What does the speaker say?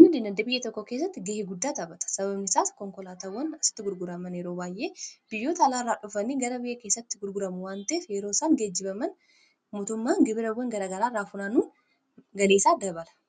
guddina biyya tokko keessatti gahee guddaa taphata. Sababnisaa konkolaatawwan asitti gurguraman yeroo baay'ee biyyoota alaarraa dhufanii gara biyya keessatti gurgurama waan ta'ef yeroo isaan geejjibaman motummaan gibirawwan garagaraarraa funaanuu galii isaa dabala.